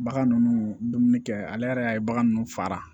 Bagan ninnu dumuni kɛ ale yɛrɛ y'a ye bagan ninnu fara